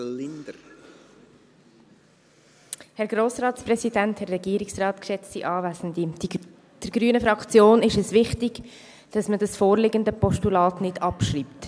Der grünen Fraktion ist es wichtig, dass man das vorliegende Postulat nicht abschreibt.